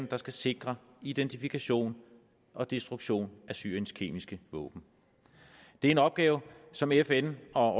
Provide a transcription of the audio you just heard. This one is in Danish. der skal sikre identifikation og destruktion af syriens kemiske våben det er en opgave som fn og